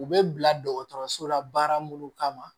U bɛ bila dɔgɔtɔrɔso la baara minnu kama